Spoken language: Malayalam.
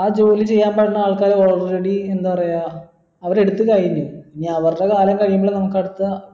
ആ ജോലി ചെയ്യാൻ പറ്റുന്ന ആൾക്കാർ already എന്താ പറയാം അവര് എടുത്തു കഴിഞ്ഞു എനി അവരുടെ കാലം കഴിയുമ്പളെ നമുക്ക് അടുത്ത